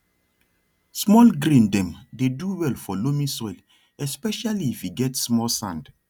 small grain dem dey do well for loamy soil especially if e get small sand